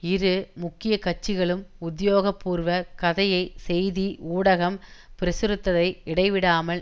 இரு முக்கிய கட்சிகளும் உத்தியோகபூர்வ கதையை செய்தி ஊடகம் பிரசுரித்ததை இடைவிடாமல்